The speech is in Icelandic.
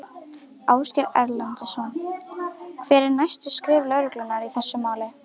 Ásgeir Erlendsson: Hver eru næstu skref lögreglunnar í þessu máli?